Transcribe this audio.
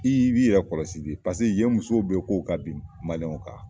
I' b'i yɛrɛ kɔlɔsi de paseke yen musow bɛ k'u ka bin maliɲɛw kan !